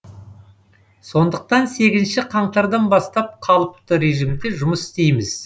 сондықтан сегізінші қаңтардан бастап қалыпты режимде жұмыс істейміз